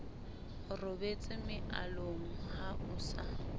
robetse mealong ha o sa